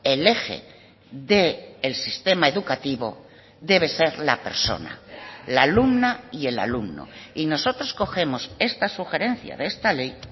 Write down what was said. el eje del sistema educativo debe ser la persona la alumna y el alumno y nosotros cogemos esta sugerencia de esta ley